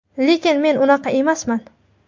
Lekin men unaqa emasman.